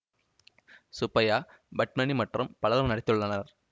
சுப்பைய்யா பத்மினி மற்றும் பலரும் நடித்துள்ளனர்